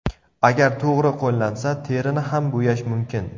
Agar to‘g‘ri qo‘llansa, terini ham bo‘yash mumkin.